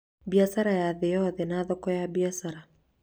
biacara ya thĩ yothe na thoko ya biacara